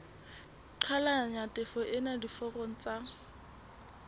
qhalanya tjhefo ena diforong tsa